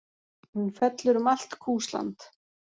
Hún fellur um allt Kúsland.